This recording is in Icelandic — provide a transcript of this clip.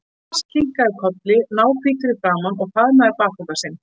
Thomas kinkaði kolli, náhvítur í framan, og faðmaði bakpokann sinn.